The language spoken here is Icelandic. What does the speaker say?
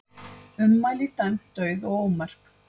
Ummæli dæmd dauð og ómerk